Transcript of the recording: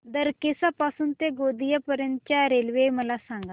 दरेकसा पासून ते गोंदिया पर्यंत च्या रेल्वे मला सांगा